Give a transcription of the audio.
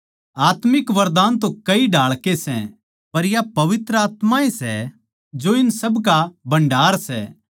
आत्मिक वरदान तो कई ढाळ के सै पर या पवित्र आत्मा ए सै जो इन सबका भण्डार सै